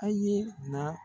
A ye na.